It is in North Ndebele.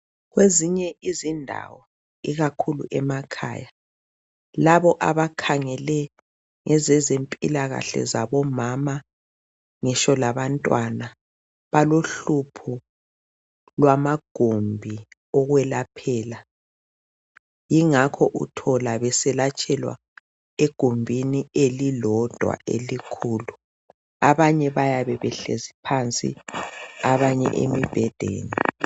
Ezinye izindawo, ikakhulu emakhaya, labo abakhangele ngezezempilakahle zabomama ngitsho labantwana balohlupho lwamagumbi okwelaphela, yingakho uthola beselatshelwa egumbini elilodwa elikhulu. Abanye bayabe behlezi phansi abanye emibhedeni.